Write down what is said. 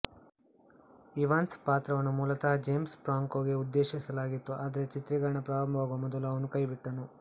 Evans ಪಾತ್ರವನ್ನು ಮೂಲತಃ James ಫ್ರಾಂಕೋಗೆ ಉದ್ದೇಶಿಸಲಾಗಿತ್ತು ಆದರೆ ಚಿತ್ರೀಕರಣ ಪ್ರಾರಂಭವಾಗುವ ಮೊದಲು ಅವನು ಕೈಬಿಟ್ಟನು